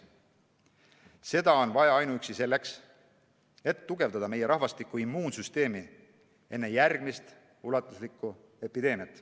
Seda on vaja ka selleks, et tugevdada meie rahvastiku immuunsüsteemi enne järgmist ulatuslikku epideemiat.